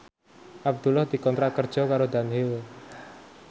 Abdullah dikontrak kerja karo Dunhill